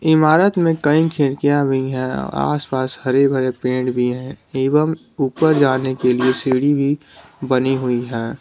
इमारत में कई खिरकियां हुई है आस पास हरे भरे पेड़ भी हैं एवं ऊपर जाने के लिए सीढ़ी भी बनी हुई है।